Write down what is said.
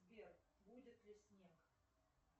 сбер будет ли снег